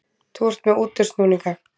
Þú ert með útúrsnúninga.